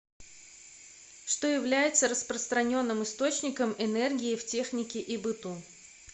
что является распространенным источником энергии в технике и быту